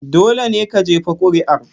Dole ne ka jefa kuri'a.